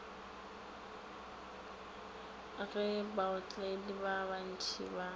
ge baotledi ba bantši ba